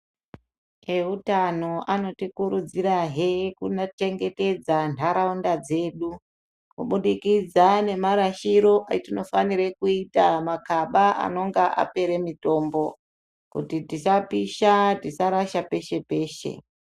Eutano anotikurudzirahe kunachengetedza ntaraunda dzedu kubudikidza nemarashiro etinofanire kuita makaba anonga apere mitombo kuti tisapisha tisarasha peshe peshe.